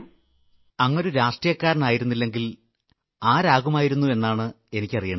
അങ്ങ് ഒരു രാഷ്ട്രീയക്കാരനായിരുന്നില്ലെങ്കിൽ ആരാകുമായിരുന്നു എന്നാണ് എനിക്കറിയേണ്ടത്